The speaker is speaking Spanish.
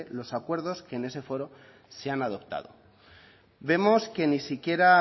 los acuerdos que en ese foro se han adoptado vemos que ni siquiera